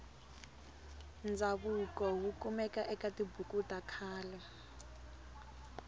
ndzavuko wukumeka ekatibhuku takhale